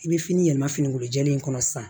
I bɛ fini yɛlɛma finikolo jɛlen kɔnɔ sisan